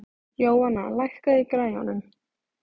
Jóanna, lækkaðu í græjunum.